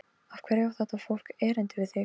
Af hverju á þetta fólk erindi við þig?